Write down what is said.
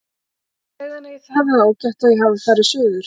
Segðu henni að ég hafi það ágætt og að ég hafi farið suður.